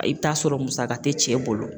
I bi t'a sɔrɔ musaka te cɛ bolo